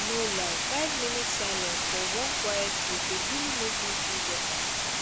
no lie five minutes silence for one quiet place dey really make me feel better